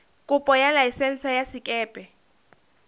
kopo ya laesense ya sekepe